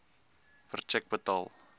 per tjek betaal